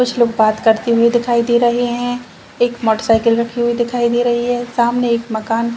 कुछ लोग बात करते हुए दिखाई दे रहे हैं एक मोटरसाइकिल रखी हुई दिखाई दे रही है सामने एक मकान --